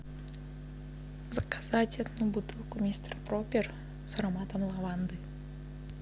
заказать одну бутылку мистер пропер с ароматом лаванды